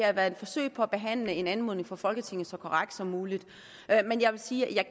har været et forsøg på at behandle en anmodning fra folketinget så korrekt som muligt jeg vil sige at